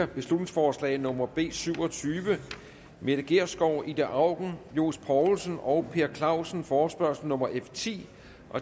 beslutningsforslag nummer b syv og tyve mette gjerskov ida auken johs poulsen og per clausen forespørgsel nummer f ti